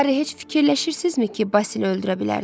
Hari, heç fikirləşirsizmi ki, Basil öldürə bilərdilər?